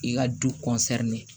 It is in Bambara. I ka du